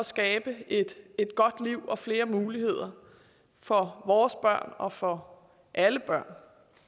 skabe et godt liv og flere muligheder for vores børn og for alle børn